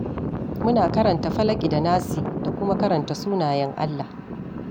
Muna karanta Falaƙi da Nasi da kuma karanta sunayen Allah.